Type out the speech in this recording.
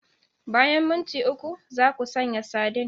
Bayan minti uku, za ku sanya sardine.